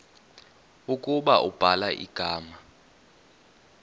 ukuba ubhala igama